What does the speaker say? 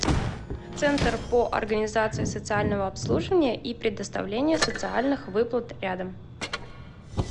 центр по организации социального обслуживания и предоставлению социальных выплат рядом